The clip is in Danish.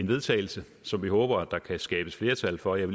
vedtagelse som vi håber der kan skabes flertal for og jeg